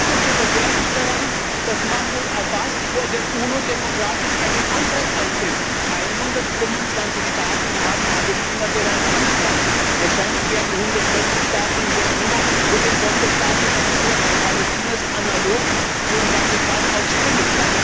Was ist denn so verwerflich daran, dass Mahmud Abbas vor der UNO demokratisch einen Antrag einbringt? 125 Staaten haben Palästina bereits anerkannt. Wahrscheinlich werden 140 Staaten in der UNO für den Sonderstatus Palästinas analog zum Vatikan stimmen.